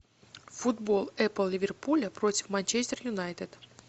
футбол апл ливерпуля против манчестер юнайтед